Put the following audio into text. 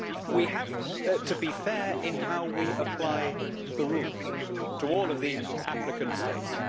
We have to be fair in how we apply the rules to all of the applicant states.